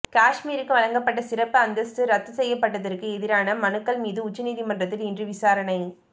காஷ்மீருக்கு வழங்கப்பட்ட சிறப்பு அந்தஸ்த்து ரத்து செய்யப்பட்டதற்கு எதிரான மனுக்கள் மீது உச்சநீதிமன்றத்தில் இன்று விசாரணை